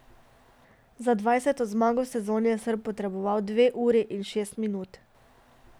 Za dvajseto zmago v sezoni je Srb potreboval dve uri in šest minut.